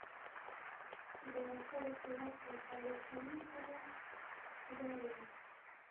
Beerashada khudaarta waxaa lagu samayn karaa beer yar.